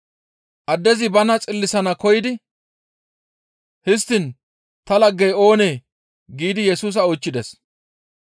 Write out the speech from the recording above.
Addezi bana xillisanaas koyidi, «Histtiin ta laggey oonee?» giidi Yesusa oychchides.